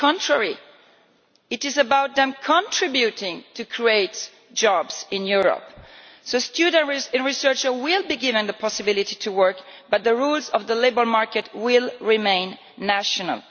On the contrary, it is about them contributing to creating jobs in Europe. So students and researchers will be given the possibility to work, but the rules of the labour market will remain national.